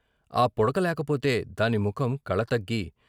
ఆ పుడక లేకపోతే దాని ముఖం కళతగ్గి.